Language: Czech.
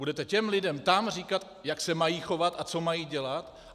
Budete těm lidem tam říkat, jak se mají chovat a co mají dělat.